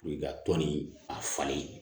i ka tɔn nin a falen